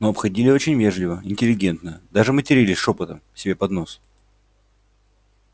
но обходили очень вежливо интеллигентно даже матерились шёпотом себе под нос